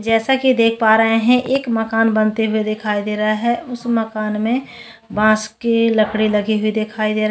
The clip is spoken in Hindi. जैसा की देख पा रहे है एक मकान बनते हुए दिखाई दे रहा है उस मकान मैं बास के लकड़ी लगी हुई दिखाई दे रहे है।